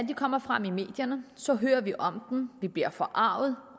kommer frem i medierne så hører vi om dem vi bliver forargede og